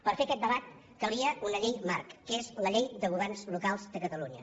per fer aquest debat calia una llei marc que és la llei de governs locals de catalunya